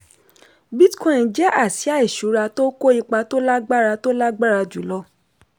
bitcoin jẹ́ àsìá ìṣura tó kó ipa tó lágbára tó lágbára jùlọ.